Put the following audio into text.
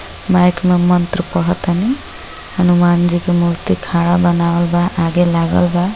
Mic में मंत्र पढ़तनी हनुमान जी की मूर्ति खाड़ा बनावल बा आगे लागल बा।